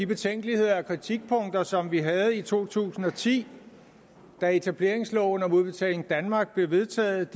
betænkeligheder og kritikpunkter som vi havde i to tusind og ti da etableringsloven om udbetaling danmark blev vedtaget